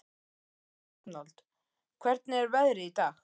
Arnold, hvernig er veðrið í dag?